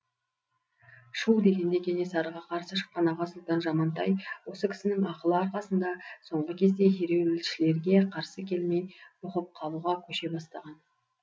шүу дегенде кенесарыға қарсы шыққан аға сұлтан жамантай осы кісінің ақылы арқасында соңғы кезде ереуілшілерге қарсы келмей бұғып қалуға көше бастаған